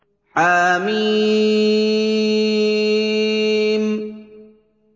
حم